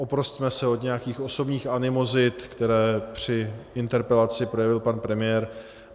Oprosťme se od nějakých osobních animozit, které při interpelaci projevil pan premiér.